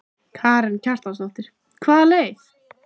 Karen Kjartansdóttir: Hvaða leið?